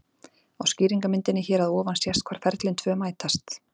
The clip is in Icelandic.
Á skýringarmyndinni hér að ofan sést hvar ferlin tvö mætast.